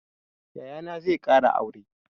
Yayana zai ƙara aure.